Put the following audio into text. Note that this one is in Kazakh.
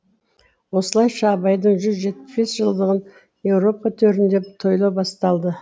осылайша абайдың жүз жетпіс бес жылдығын еуропа төрінде тойлау басталды